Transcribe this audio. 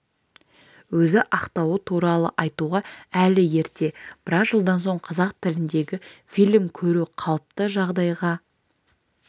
өзі ақтауы туралы айтуға әлі ерте біраз жылдан соң қазақ тіліндегі фильм көру қалыпты жағдайға